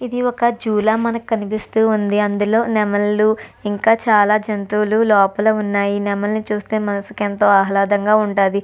ఇది ఒక జూ లా మనకు కనిపిస్తూ ఉంది అందులో నెమల్లు ఇంకా చాలా జంతువులు లోపల ఉన్నాయి నెమలిని చూస్తే మనసుకు ఎంతో ఆహ్లాదంగా ఉంటది.